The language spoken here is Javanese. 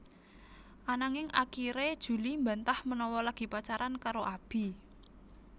Ananging akiré Julie mbantah menawa lagi pacaran karo Abi